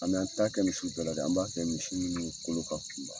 A an t'a kɛ misiw bɛɛ la dɛ an b'a kɛ misi ninnu kolo ka kunba.